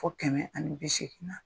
Fo kɛmɛ ani bi seegin na.